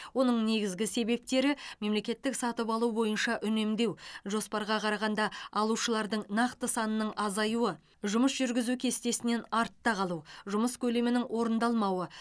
оның негізгі себептері мемлекеттік сатып алу бойынша үнемдеу жоспарға қарағанда алушылардың нақты санының азаюы жұмыс жүргізу кестесінен артта қалу жұмыс көлемінің орындалмауы